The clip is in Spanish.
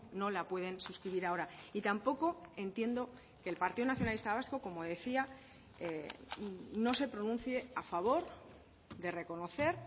no la pueden suscribir ahora y tampoco entiendo que el partido nacionalista vasco como decía no se pronuncie a favor de reconocer